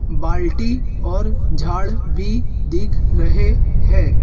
बाल्टी और झाड़ भी दिख रहे हैं।